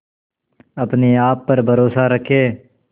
अपने आप पर भरोसा रखें